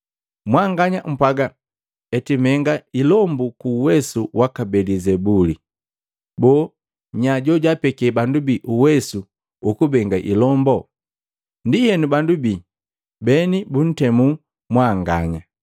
Mwanganya mpwaaga eti menga ilombu ku uwesu waka Belizebuli. Boo, nya jojaapeke bandu bii uwesu ukubenga ilombo? Ndienu bandu bii bene buntemula mwanganya.